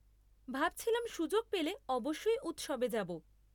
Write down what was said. ভাবছিলাম সুযোগ পেলে অবশ্যই উৎসবে যাব।